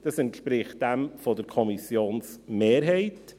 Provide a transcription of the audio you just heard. Das entspricht dem Antrag der Kommissionsmehrheit.